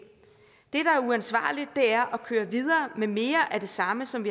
det der er uansvarligt er at køre videre med mere af det samme som